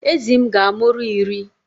Ezi m ga-amụru iri